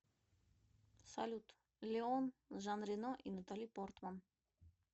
салют леон с жан рено и натали портман